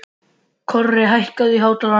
Korri, hækkaðu í hátalaranum.